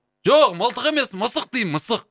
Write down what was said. жоқ мылтық емес мысық деймін мысық